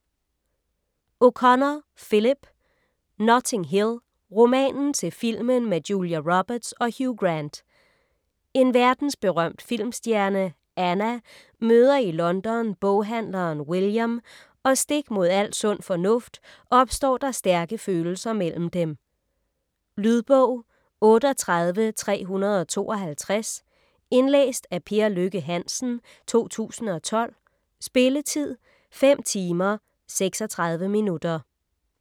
O'Connor, Philip: Notting Hill: romanen til filmen med Julia Roberts og Hugh Grant En verdensberømt filmstjerne, Anna, møder i London boghandleren William, og stik mod al sund fornuft opstår der stærke følelser mellem dem. Lydbog 38352 Indlæst af Per Lykke Hansen, 2012. Spilletid: 5 timer, 36 minutter.